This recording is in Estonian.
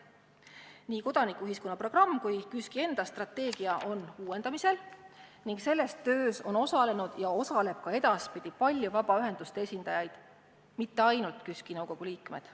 Nii kodanikuühiskonna programm kui ka KÜSK-i enda strateegia on uuendamisel ning selles töös on osalenud ja osalevad ka edaspidi paljud vabaühenduste esindajad, mitte ainult KÜSK-i nõukogu liikmed.